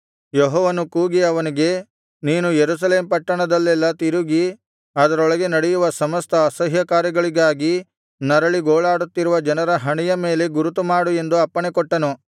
ಯೆಹೋವನು ಕೂಗಿ ಅವನಿಗೆ ನೀನು ಯೆರೂಸಲೇಮ್ ಪಟ್ಟಣದಲ್ಲೆಲ್ಲಾ ತಿರುಗಿ ಅದರೊಳಗೆ ನಡೆಯುವ ಸಮಸ್ತ ಅಸಹ್ಯ ಕಾರ್ಯಗಳಿಗಾಗಿ ನರಳಿ ಗೋಳಾಡುತ್ತಿರುವ ಜನರ ಹಣೆಯ ಮೇಲೆ ಗುರುತುಮಾಡು ಎಂದು ಅಪ್ಪಣೆಕೊಟ್ಟನು